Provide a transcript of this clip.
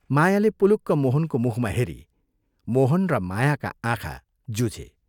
मायाले पुलुक्क मोहनको मुखमा हेरी, मोहन र मायाका आँखा जुझे।